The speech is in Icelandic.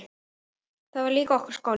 Það var líka okkar skóli.